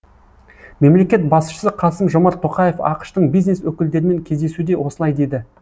мемлекет басшысы қасым жомарт тоқаев ақш тың бизнес өкілдерімен кездесуде осылай деді